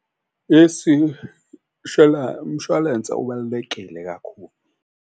Umshwalense ubalulekile kakhulu.